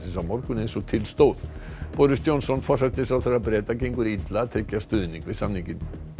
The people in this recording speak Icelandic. á morgun eins og til stóð boris Johnson forsætisráðherra Breta gengur illa að tryggja stuðning við samninginn